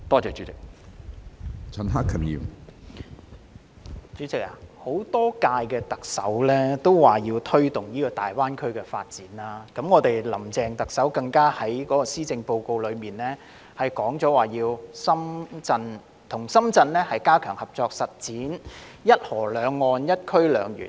主席，多屆特首都說要推動大灣區發展，林鄭特首更在今年的施政報告中提及要與深圳加強合作，實踐"一河兩岸、一區兩園"。